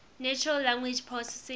natural language processing